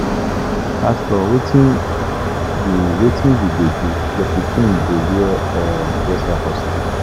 Pastor wetin you go do? Your pikin dey wear trouser for school.